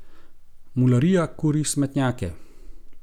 Mularija kuri smetnjake.